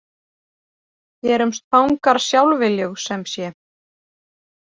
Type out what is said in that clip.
Gerumst fangar sjálfviljug, sem sé?